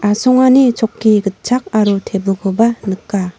asongani chokki gitchak aro tebilkoba nika.